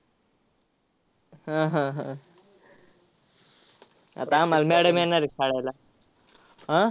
हा, हा, हा. आता आम्हाला madam येणार आहे फाडायला. आह